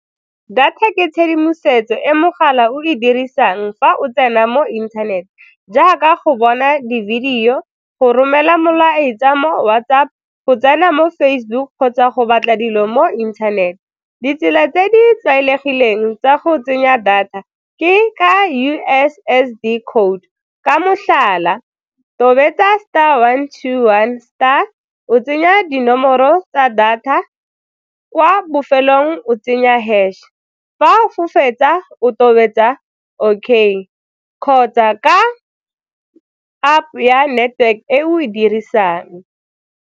Data ke tshedimosetso e mogala o e dirisang fa o tsena mo internet jaaka go bona di-video, go romela molaetsa mo WhatsApp, go tsena mo Facebook kgotsa go batla dilo mo internet. Ditsela tse di tlwaelegileng tsa go tsenya data ke ka U_S_S_D code, ka motlhala, tobetsa star one two one star, o tsenya dinomoro tsa data wa bofelong o tsenya hash, fa o fetsa o tobetsa okay ka kgotsa ka App ya network e o e dirisang.